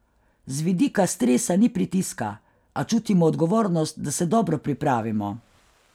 Z vidika stresa ni pritiska, a čutimo odgovornost, da se dobro pripravimo.